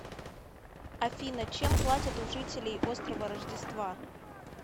афина чем платят у жителей острова рождества